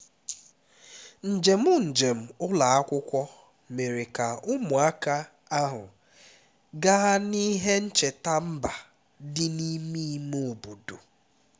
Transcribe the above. njem njem ụlọ akwụkwọ mere ka ụmụaka ahụ gaa n'ihe ncheta mba dị n'ime ime obodo